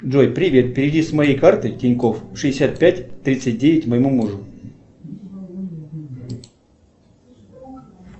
джой привет переведи с моей карты тинькофф шестьдесят пять тридцать девять моему мужу